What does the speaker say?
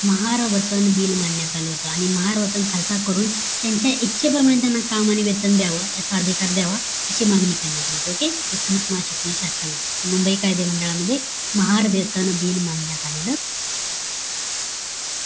महारवतंन bill मारण्यात आलं होत महारवतन खालचा करून त्यांच्या इच्छे प्रमाणे त्यांना काम आणि वेतन द्यावं याचा अधिकार द्यावा अशी मागणी करण्यात आलेली होती okay एकोणीस मार्च एकोणीशे अठ्ठावीस मुंबई कायदे मंडळामध्ये महार वेतन bill मानण्यात आलं